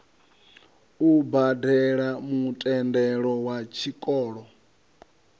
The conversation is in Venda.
u badele mutendelo wa tshikolo